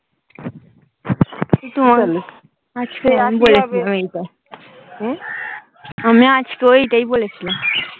আমি আজকে ওইটাই বলেছিলাম।